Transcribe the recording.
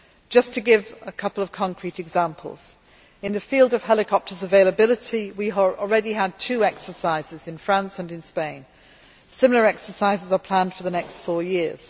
Just to give a couple of concrete examples. In the field of helicopter availability, we already had two exercises in France and in Spain. Similar exercises are planned for the next four years.